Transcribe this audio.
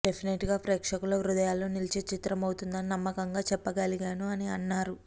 డెఫినెట్గా ప్రేక్షకుల హృదయాల్లో నిలిచే చిత్రమవుతుందని నమ్మకంగా చెప్పగలను అని అన్నారు